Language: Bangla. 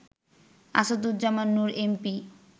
আসাদুজ্জামান নূর এমপি